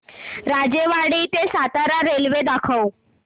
राजेवाडी ते सातारा रेल्वे दाखव